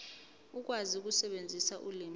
ukwazi ukusebenzisa ulimi